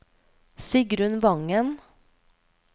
Sigrun Wangen